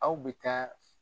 Aw bɛ taa